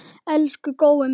Elsku Gói minn.